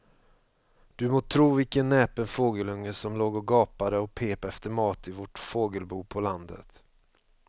Du må tro vilken näpen fågelunge som låg och gapade och pep efter mat i vårt fågelbo på landet.